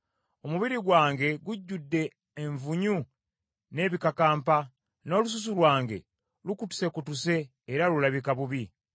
Omubiri gwange gujjudde envunyu n’ebikakampa, n’olususu lwange lukutusekutuse era lulabika bubi.